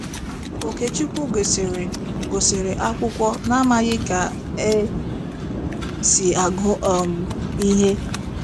Okechukwu gụsịrị gụsịrị akwụkwọ n’amaghị ka e si agụ um ihe.